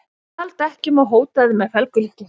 Stal dekkjum og hótaði með felgulykli